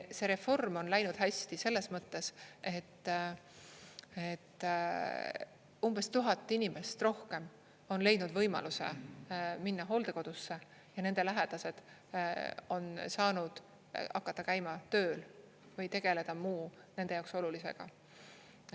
See reform on läinud hästi selles mõttes, et umbes 1000 inimest rohkem on leidnud võimaluse minna hooldekodusse ja nende lähedased on saanud hakata käima tööl või tegeleda muu nende jaoks olulisega.